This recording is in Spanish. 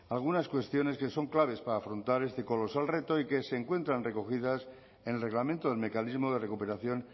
algunas cuestiones que son claves para afrontar este colosal reto y que se encuentran recogidas en el reglamento del mecanismo de recuperación